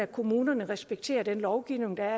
kommunerne respekterer den lovgivning der